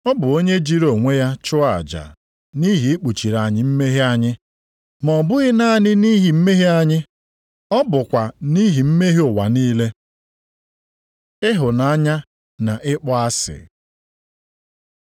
Ọ bụ onye jiri onwe ya chụọ aja nʼihi ikpuchiri anyị mmehie anyị, ma ọ bụghị naanị nʼihi mmehie anyị, ọ bụkwa nʼihi mmehie ụwa niile. Ịhụnanya na Ịkpọ asị